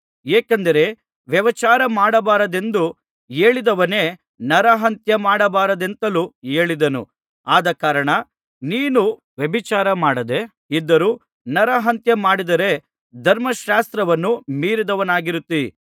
ಏಕೆಂದರೆ ವ್ಯಭಿಚಾರ ಮಾಡಬಾರದೆಂದು ಹೇಳಿದವನೇ ನರಹತ್ಯ ಮಾಡಬಾರದೆಂತಲೂ ಹೇಳಿದನು ಆದಕಾರಣ ನೀನು ವ್ಯಭಿಚಾರಮಾಡದೆ ಇದ್ದರೂ ನರಹತ್ಯ ಮಾಡಿದರೆ ಧರ್ಮಶಾಸ್ತ್ರವನ್ನು ಮೀರಿದವನಾಗಿರುತ್ತಿ